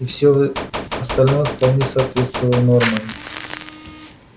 и всё остальное вполне соответствовало нормам